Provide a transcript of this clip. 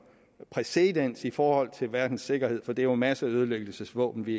præcedens i forhold til verdens sikkerhed for det er jo masseødelæggelsesvåben vi